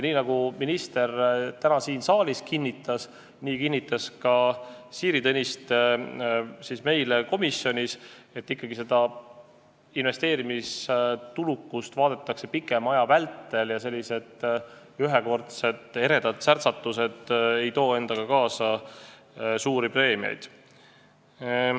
Nagu minister täna siin saalis kinnitas ja nii kinnitas ka Siiri Tõniste meile komisjonis, et investeerimistulukust vaadatakse ikkagi pikema aja vältel ja sellised ühekordsed eredad särtsatused ei too endaga kaasa suuri preemiaid.